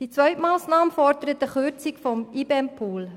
Die zweite Massnahme fordert eine Kürzung des IBEMPools.